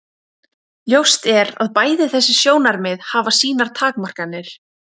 Ljóst er að bæði þessi sjónarmið hafa sínar takmarkanir.